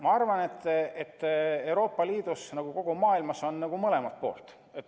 Ma arvan, et Euroopa Liidus, nagu kogu maailmas, on mõlemat.